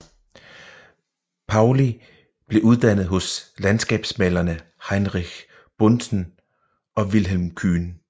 Paulli blev uddannet hos landskabsmalerne Heinrich Buntzen og Vilhelm Kyhn